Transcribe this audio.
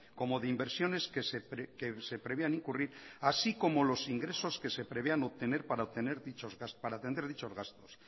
como de inversiones que se preveían incurrir así como los ingresos que se prevean obtener para atender dichos gastos